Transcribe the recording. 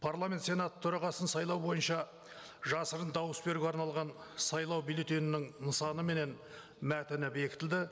парламент сенаты төрағасын сайлау бойынша жасырын дауыс беруге арналған сайлау бюллетенінің нысаны менен мәтіні бекітілді